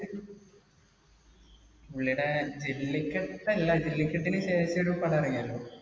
പുള്ളിടെ ജെല്ലിക്കെട്ടല്ല ജെല്ലിക്കെട്ടിനു ശേഷൊരു പടം ഇറങ്ങിയല്ലോ